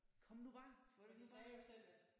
Kom nu bang kom nu bare